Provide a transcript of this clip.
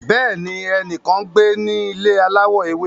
Bẹẹni, ẹnikan ngbe ni ile alawọ ewe